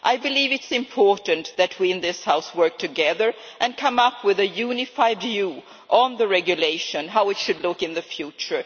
I believe it is important that we in this House work together and come up with a unified view on the Regulation and how it should look in the future.